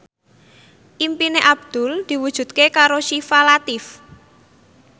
impine Abdul diwujudke karo Syifa Latief